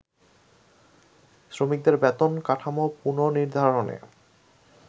শ্রমিকদের বেতন কাঠামো পুননির্ধারণে